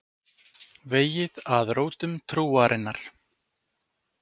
Vegið að rótum trúarinnar